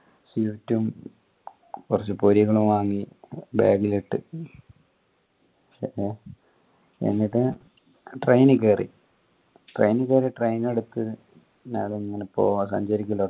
cigarette ഉം കൊറച് പോരികളും വാങ്ങി bag ൽ ഇട്ട് എന്നിട്ട് train കേറി train കേറി train എടുത്ത് നേരെ ഇങ്ങനെ പോവ്വാ